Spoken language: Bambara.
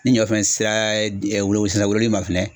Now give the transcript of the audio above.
Ni ɲɔfɛn sera ɛ wiolo sisan wololi ma fɛnɛ.